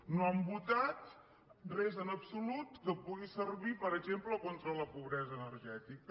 no han votat res en absolut que pugui servir per exemple contra la pobresa ener·gètica